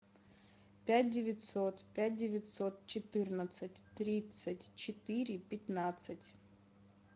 пять девятьсот пять девятьсот четырнадцать тридцать четыре пятнадцать